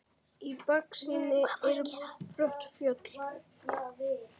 Í baksýn eru brött fjöll.